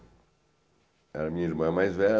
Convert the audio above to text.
Eh Minha irmã mais velha